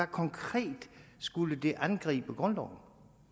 konkret skulle angribe grundloven